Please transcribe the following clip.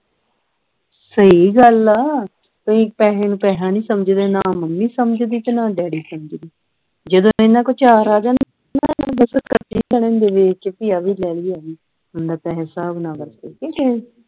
ਸਹੀ ਗੱਲ ਆ ਤੁਸੀਂ ਪੈਸੇ ਨੂੰ ਪੈਸਾ ਨਹੀਂ ਸਮਝਦੇ ਨਾਂ ਮੰਮੀ ਸਮਝਦੀ ਨਾਂ daddy ਸਮਝਦੇ ਜਦੋਂ ਇਨ੍ਹਾਂ ਕੋਲ ਚਾਰ ਆ ਜਾਣ ਇਹ ਏਨੇ ਖਰਚੇ ਕਰਨ ਗਏ ਕੇ ਆ ਵੀ ਲੈ ਲੈਣੀ ਏ ਆ ਵੀ ਲੈ ਲੈਣੀ ਏ ਬੰਦਾ ਪੈਸੇ ਹਿਸਾਬ ਨਾਲ ਵਰਤੇ ਕੇ